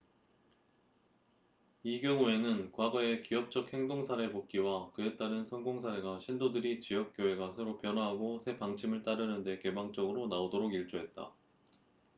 이 경우에는 과거의 기업적 행동 사례 복기와 그에 따른 성공 사례가 신도들이 지역 교회가 새로 변화하고 새 방침을 따르는데 개방적으로 나오도록 일조했다